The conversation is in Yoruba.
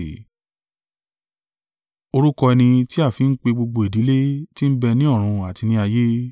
Orúkọ ẹni tí a fi ń pe gbogbo ìdílé tí ń bẹ ni ọ̀run àti ní ayé.